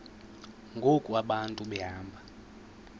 ngoku abantu behamba